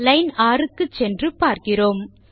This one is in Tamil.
லைன் 6 க்கு சென்று பார்க்கிறோம்